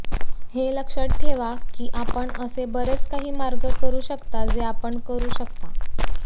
हे लक्षात ठेवा की आपण असे बरेच काही मार्ग करु शकता जे आपण करू शकता